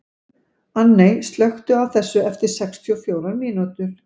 Anney, slökktu á þessu eftir sextíu og fjórar mínútur.